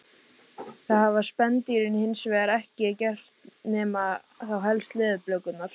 Það hafa spendýrin hins vegar ekki gert nema þá helst leðurblökurnar.